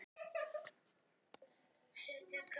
Þannig var Eiður.